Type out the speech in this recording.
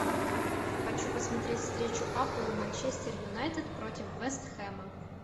хочу посмотреть встречу апл манчестер юнайтед против вест хэма